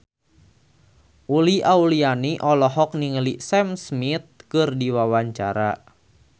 Uli Auliani olohok ningali Sam Smith keur diwawancara